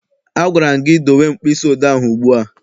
A gwara m gị dowe mkpịsị odee ahụ ugbu a!